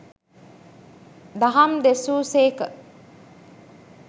දහම් දෙසූ සේක.